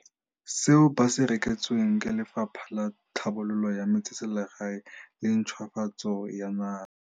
seo ba se reketsweng ke Lefapha la Tlhabololo ya Metseselegae le Ntšhwafatso ya Naga.